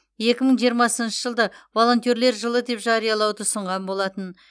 екі мың жиырмасыншы жылды волентерлер жылы деп жариялауды ұсынған болатын